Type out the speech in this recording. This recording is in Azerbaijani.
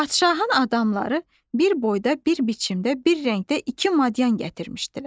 Padşahın adamları bir boyda, bir biçimdə, bir rəngdə iki madyan gətirmişdilər.